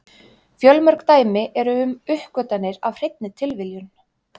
Fjölmörg dæmi eru um uppgötvanir af hreinni tilviljun.